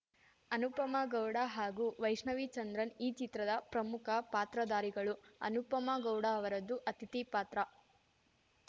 ಅನುಪಮಾ ಗೌಡ ಹಾಗೂ ವೈಷ್ಣವಿ ಚಂದ್ರನ್‌ ಈ ಚಿತ್ರದ ಪ್ರಮುಖ ಪಾತ್ರಧಾರಿಗಳು ಅನುಪಮಾ ಗೌಡ ಅವರದ್ದು ಅತಿಥಿ ಪಾತ್ರ